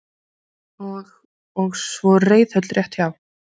Gissur Sigurðsson: Og og svo reiðhöll rétt hjá?